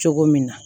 Cogo min na